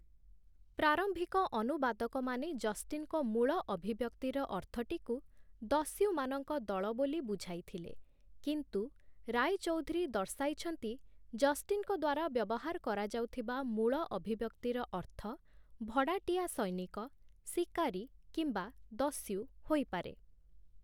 ପ୍ରାରମ୍ଭିକ ଅନୁବାଦକମାନେ ଜଷ୍ଟିନ୍‌ଙ୍କ ମୂଳ ଅଭିବ୍ୟକ୍ତିର ଅର୍ଥଟିକୁ 'ଦସ୍ୟୁମାନଙ୍କ ଦଳ' ବୋଲି ବୁଝାଇଥିଲେ, କିନ୍ତୁ ରାୟଚୌଧୁରୀ ଦର୍ଶାଇଛନ୍ତି, ଜଷ୍ଟିନ୍‌ଙ୍କ ଦ୍ୱାରା ବ୍ୟବହାର କରାଯାଉଥିବା ମୂଳ ଅଭିବ୍ୟକ୍ତିର ଅର୍ଥ 'ଭଡ଼ାଟିଆ ସୈନିକ', 'ଶିକାରୀ' କିମ୍ବା 'ଦସ୍ୟୁ' ହୋଇପାରେ ।